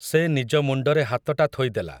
ସେ ନିଜ ମୁଣ୍ଡରେ ହାତଟା ଥୋଇଦେଲା ।